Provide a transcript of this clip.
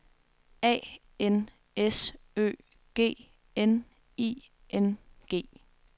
A N S Ø G N I N G